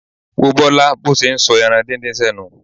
Wo Bọ́lá bó ṣe ń sọ ẹran díndín sẹ́nu.